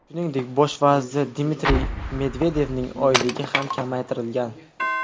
Shuningdek, bosh vazir Dmitriy Medvedevning oyligi ham kamaytirilgan.